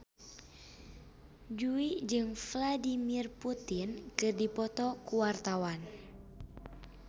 Jui jeung Vladimir Putin keur dipoto ku wartawan